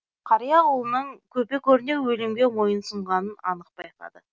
қария ұлының көпе көрнеу өлімге мойынсұнғанын анық байқады